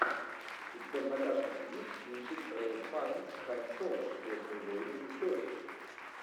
у тебя в загашнике есть кинчик рэйф файнс хан соло звездные войны истории